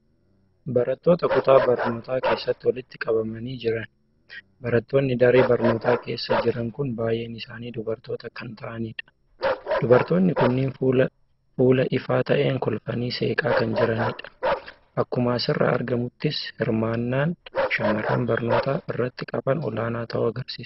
Barattoota kutaa barnootaa keessatti walitti qabamanii jiran. Barattoonni daree barnootaa keessa jiran kun baay'een isaanii dubartoota kan ta'anidha. Dubartoonni kunneen fuula ifaa ta'een kolfanii seeqaa kan jiranidha. Akkuma asirraa argamuttis hirmaan aan shamarran barnoota irratti qaban olaanaa ta'uu agarsiisa.